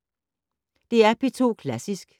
DR P2 Klassisk